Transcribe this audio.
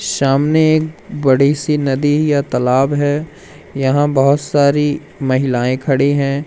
सामने एक बड़ी सी नदी या तालाब है यहां बहोत सारी महिलाएं खड़ी हैं।